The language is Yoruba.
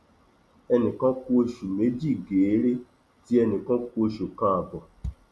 ẹnì kan ku oṣù méjì geere tí ẹnì kan ku oṣù kan ààbọ